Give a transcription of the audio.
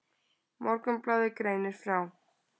Morgunblaðið greinir frá.